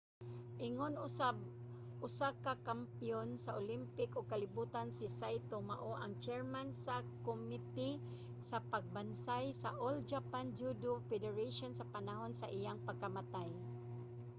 ingon usab usa ka kampiyon sa olympic ug kalibutan si saito mao ang chairman sa komite sa pagbansay sa all japan judo federation sa panahon sa iyang pagkamatay